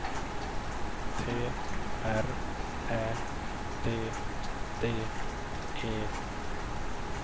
T R Ä D D E